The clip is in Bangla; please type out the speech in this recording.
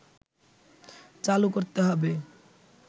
চালু করতে হবে